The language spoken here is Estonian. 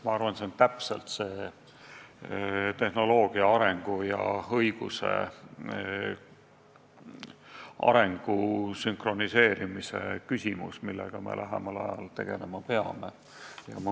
Ma arvan, et see on tehnoloogia arengu ja õiguse arengu sünkroniseerimise küsimus, millega me lähemal ajal tegelema peame.